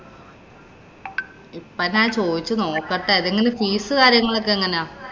ഇപ്പം ഞാന്‍ ചോദിച്ചു നോക്കട്ടെ. ഇതെങ്ങനാ? fees കാര്യങ്ങളൊക്കെ എങ്ങനാ?